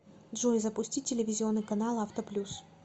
джой запустить телевизионный канал авто плюс